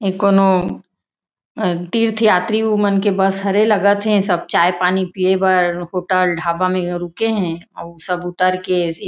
इ कोनो तीर्थयात्री मन के बस हर ए लगत थे सब चाय-पानी पिए बर होटल ढाबा म रुके हे अउ सब उतर के--